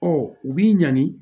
Ɔ u b'i ɲani